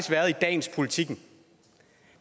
dagens politiken